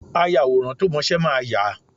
Ayàwòrán tó mọ́ṣẹ máa yà á.